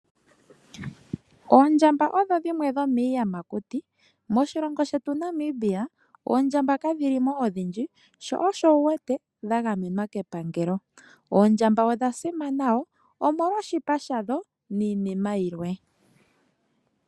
Oondjamba odho dhimwe dhomiiyamakuti. Moshilongo shetu Namibia oondjamba kadhi li mo odhindji, sho osho wu wete dha gamenwa kepangelo. Oondjamba odha simana wo, omolwa oshipa sha dho niinima yilwe.